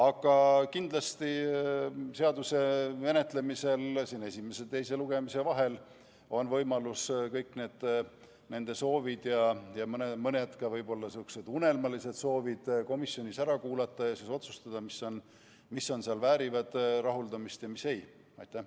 Aga kindlasti on eelnõu menetlemisel esimese ja teise lugemise vahel võimalus kõik nende soovid – ja mõned ka võib-olla sihukesed unelmalised – komisjonis ära kuulata ja siis otsustada, mis väärivad rahuldamist ja mis ei vääri.